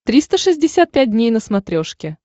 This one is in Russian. триста шестьдесят пять дней на смотрешке